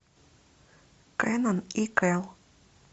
кенан и кел